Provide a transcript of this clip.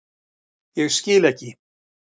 Ég skil ekki.